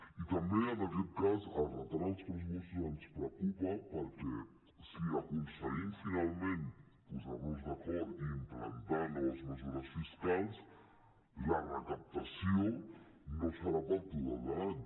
i també en aquest cas el retard en els pressupostos ens preocupa perquè si aconseguim finalment posar nos d’acord i implantar noves mesures fiscals la recaptació no serà pel total de l’any